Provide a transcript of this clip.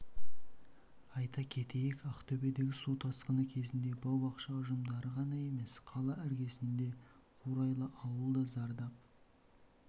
айта кетейік ақтөбедегі су тасқыны кезінде бау-бақша ұжымдары ғана емес қала іргесінде қурайлы ауыл да зардап